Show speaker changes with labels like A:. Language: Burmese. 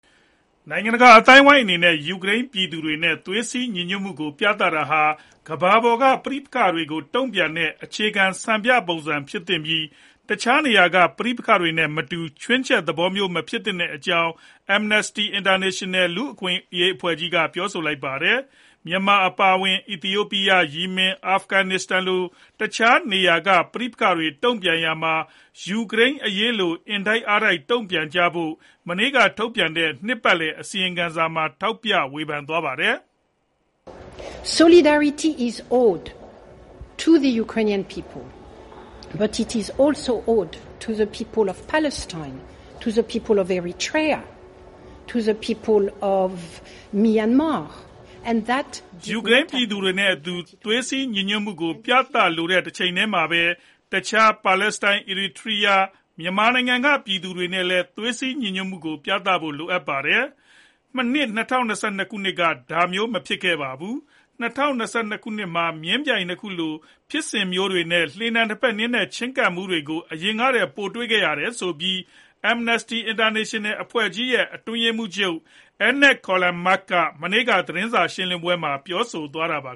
A: နိုင်ငံတကာအသိုင်းအဝန်းအနေနဲ့ ယူကရိန်းပြည်သူတွေနဲ့ သွေးစည်းညီညွတ်မှုကို ပြသတာဟာ ကမ္ဘာ့ပေါ်က ပဋိပက္ခတွေကို တုံ့ပြန်တဲ့ အခြေခံ စံပြပုံစံ ဖြစ်သင့်ပြီး တခြားနေရာက ပဋိပက္ခတွေနဲ့ မတူ ချွင်းချက်သဘောမျိုး မဖြစ်သင့်တဲ့အကြောင်း Amnesty International (AI) လူ့အခွင့်အရေး အဖွဲ့ကြီးက ပြောဆိုလိုက်ပါတယ်။ မြန်မာနိုင်ငံအပါအဝင်၊ အီသီယိုပီးယား၊ ယီမင်နဲ့ အာဖဂနစ္စတန်လို တခြားနေရာက ပဋိပက္ခတွေ တုံ့ပြန်ရာမှာ ယူကရိန်းအရေးလို အင်တိုက်အားတိုက် တုံ့ပြန်ဖို့ မနေ့ကထုတ်ပြန်တဲ့ နှစ်ပတ်လည် အစီရင်ခံစာမှာ ထောက်ပြဝေဖန်သွားပါတယ်
B: ။
A: ယူကရိန်းပြည်သူတွေနဲ့အတူ သွေးစည်းညီညွတ်မှုကို ပြသဖို့ လိုတဲ့တချိန်တည်းမှာ တခြားပါလက်စတိုင်း၊ အစ်ရီထီရာ (Eritrea)နဲ့ မြန်မာနိုင်ငံက ပြည်သူတွေနဲ့လည်း သွေးစည်းညီညွတ်မှုကိုပြဖို့ လိုပါတယ်။ ၂၀၂၂ ခုနှစ်မှာ မျဉ်းပြိုင်နှစ်ခုလို ဖြစ်စဉ်မျိုးတွေနဲ့ လှေနံနှစ်ဖက်နင်းတဲ့ ချဉ်းကပ်မှုတွေကို အရင်ကထက်ပို တွေ့ခဲ့ရပါတယ်ဆိုပြီး AI အဖွဲ့ကြီးရဲ့ အတွင်းရေးမှူးချုပ် အဲညက် ကယ်လ်မာ(Agnès Callamard) က မနေ့က သတင်းစာရှင်းလင်းပွဲမှာ ပြောဆိုသွားတာပါ